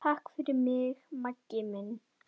Hjónin fjórðu.